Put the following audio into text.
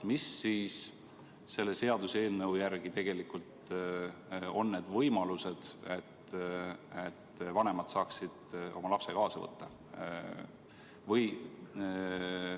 Mis siis selle seaduseelnõu järgi tegelikult on need võimalused, et vanemad saaksid oma lapse kaasa võtta?